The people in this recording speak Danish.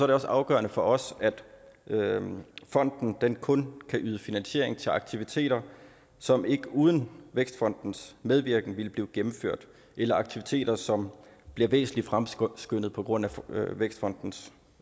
det også afgørende for os at fonden kun kan yde finansiering til aktiviteter som ikke uden vækstfondens medvirken ville blive gennemført eller at aktiviteter som bliver væsentlig fremskyndet på grund af vækstfondens